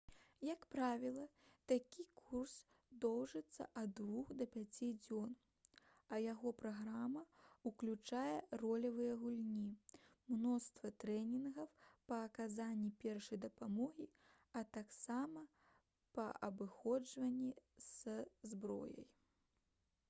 як правіла такі курс доўжыцца ад 2 да 5 дзён а яго праграма ўключае ролевыя гульні мноства трэнінгаў па аказанні першай дапамогі а таксама па абыходжанні са зброяй